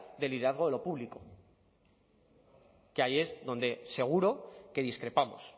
de liderazgo de lo público que ahí es donde seguro que discrepamos